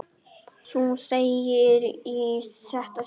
Þú þegir í þetta sinn!